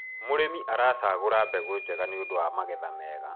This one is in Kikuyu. mũrĩmi aracagura mbegũ njega nĩũndũ wa magetha mega